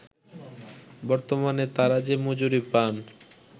বর্তমানে তারা যে মজুরি পান